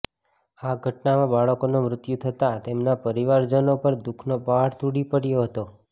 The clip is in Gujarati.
આ ઘટનામાં બાળકોના મૃત્યુ થતા તેમના પરિવારજનો પર દુઃખનો પહાડ તૂટી પડ્યો હતો